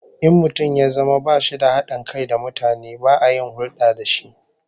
In mutum ya zama bashi da hadin kai da mutane, ba a yin hulda da shi